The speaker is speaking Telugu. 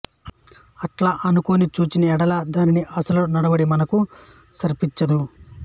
అట్లనుకొని చూచిన ఎడల దాని అసలు నడవడి మనకు స్ఫురించదు